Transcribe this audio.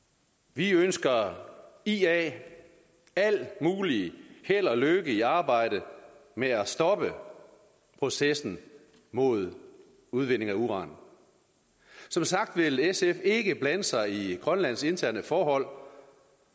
vi ønsker ia alt muligt held og lykke i arbejdet med at stoppe processen mod udvinding af uran som sagt vil sf ikke blande sig i grønlands interne forhold